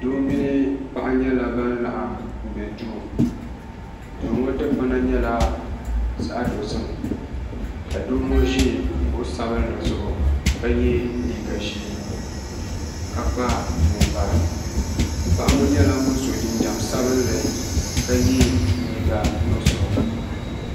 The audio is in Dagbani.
gban piɛli mini gban sabinli gban sabinli ŋɔ nyɛla do o yɛla liga ʒiɛ ka gban piɛli ŋɔ nyɛ paɣ' o yɛla liga nuɣiƒɔ bezaŋla maʒɛna tam tɛɛbuli zuɣ' ka kpaɣisiri maʒɛna ŋɔ